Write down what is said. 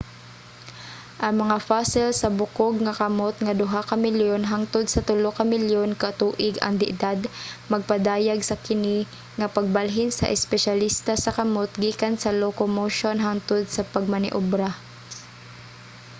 ang mga fossil sa bukog nga kamot nga duha ka milyon hangtod sa tulo ka milyon ka tuig ang edad nagpadayag sa kini nga pagbalhin sa espesyalista sa kamut gikan sa locomotion hangtod sa pagmaniobra